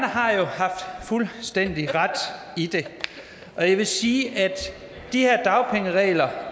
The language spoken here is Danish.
har jo haft fuldstændig ret og jeg vil sige at de her dagpengeregler